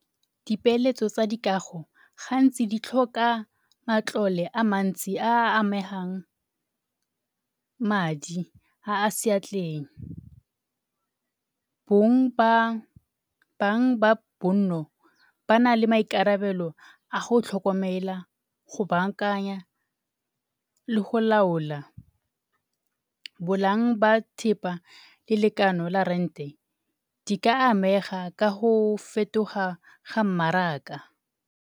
Dipeeletso tsa dikago gantsi di tlhoka matlole a mantsi a a amegang madi a a seatleng. bang ba bonno ba na le maikarabelo a go tlhokomela go bankanya le go laola. ba thipa le lekano la rent-e di ka amega ka go fetoga ga mmaraka.